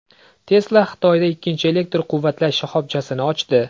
Tesla Xitoyda ikkinchi elektr quvvatlash shoxobchasini ochdi.